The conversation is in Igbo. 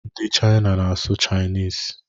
Ndị Chịna na-asụ Chịniz.